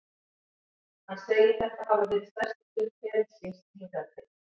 Hann segir þetta hafa verið stærstu stund ferils síns hingað til.